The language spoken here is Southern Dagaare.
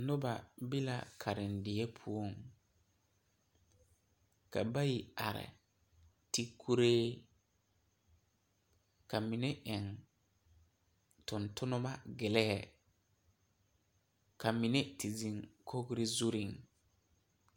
Noba be la karendie poɔŋ ka bayi are ti kuree ka mine eŋ tontonneba gelii ka mine te zeŋ kogri zuriŋ.